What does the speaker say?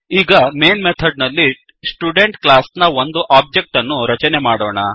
ಈಗ main method ನಲ್ಲಿ student class ನ ಒಂದು ಒಬ್ಜೆಕ್ಟ್ ಅನ್ನು ರಚನೆ ಮಾಡೋಣ